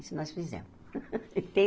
Isso nós fizemos.